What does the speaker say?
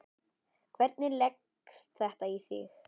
Hvernig leggst þetta í þig?